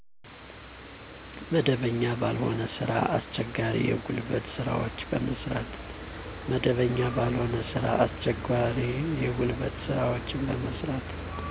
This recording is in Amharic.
መደበኛ ባልሆነ ስራ። አስቸጋሪ የጉልበት ስራወችን በመስራት።